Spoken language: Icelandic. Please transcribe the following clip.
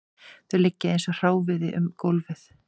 Þau liggja eins og hráviði um gólfið